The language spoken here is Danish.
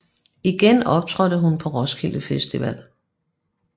Igen optrådte hun på Roskilde Festival